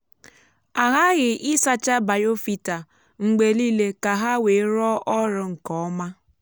a ghaghị ịsacha biofilter mgbe niile ka ha wee rụọ ọrụ nke ọma.